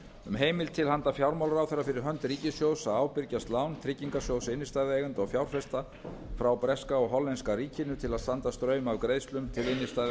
um heimild til handa fjármálaráðherra fyrir hönd ríkissjóðs til að ábyrgjast lán tryggingarsjóðs innstæðueigenda og fjárfesta frá breska og hollenska ríkinu til að standa straum af greiðslum til innstæðueigenda hjá landsbanka